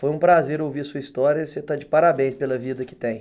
Foi um prazer ouvir a sua história e você está de parabéns pela vida que tem.